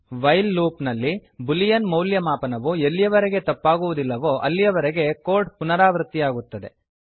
while loop ನಲ್ಲಿ boolean boolean ಮೌಲ್ಯಮಾಪನವು ಎಲ್ಲಿಯವರೆಗೆ ತಪ್ಪಾಗುವುದಿಲ್ಲವೋ ಅಲ್ಲಿಯವರೆಗೆ ಕೋಡ್ ಪುನರಾವೃತ್ತಿಯಾಗುತ್ತದೆ